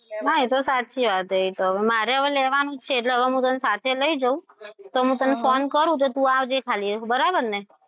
હા એ તો સાચી વાત છે એ તો મારા હવે લેવાનું જ છે હવે હું તને સાથે લઈ જવું તો હું તને phone કરું તો તું આવજે ખાલી બરાબરને.